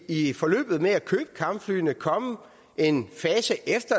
i forløbet med at købe kampflyene komme en fase efter